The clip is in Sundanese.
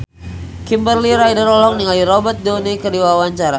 Kimberly Ryder olohok ningali Robert Downey keur diwawancara